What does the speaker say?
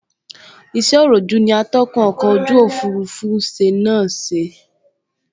Iṣẹ́ òròjú ní atúnkọ̀ ojú òfurufú ṣe náà ṣe